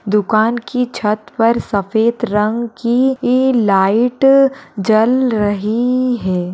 दुकान की छत पर सफ़ेद रंग की इ लाइट जल रही है।